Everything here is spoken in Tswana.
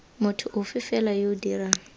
motho ofe fela yo dirang